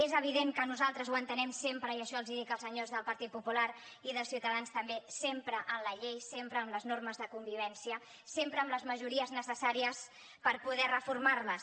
és evident que nosaltres ho entenem sempre i això els hi dic als senyors del partit popular i de ciutadans també sempre amb la llei sempre amb les normes de convivència sempre amb les majories necessàries per poder reformar les